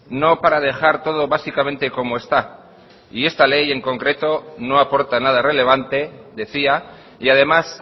no para dejar todo básicamente como está y esta ley en concreto no aporta nada relevante decía y además